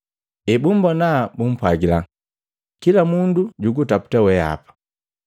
Ebumbona bumpwagila, “Kila mundu jugutaputa weapa.”